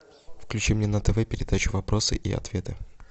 включи мне на тв передачу вопросы и ответы